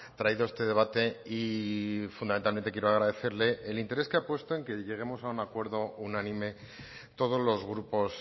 traído este debate y fundamentalmente quiero agradecerle el interés que ha puesto en que lleguemos a un acuerdo unánime todos los grupos